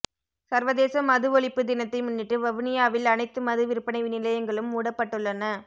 சர்வதேச மது ஒழிப்பு தினத்தை முன்னிட்டு வவுனியாவில் அனைத்து மது விற்பனை நிலையங்களும் மூடப்பட்டுள்ளன